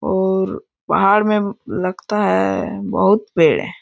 और पहाड़ में लगता है बहुत पेड़ है।